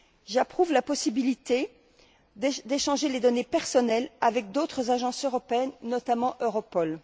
J'approuve la possibilité d'échanger les données personnelles avec d'autres agences européennes, notamment Europol.